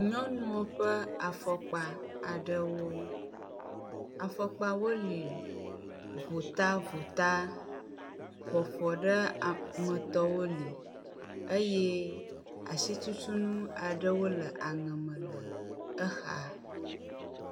Nyɔnuwo ƒe afɔkpa aɖewo. Afɔkpawo le votavota, ƒoafɔɖemetɔwo li eye asitutunu aɖewo le aŋe me le exa.